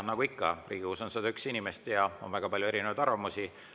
Nagu ikka, Riigikogus on 101 inimest ja on väga palju erinevaid arvamusi.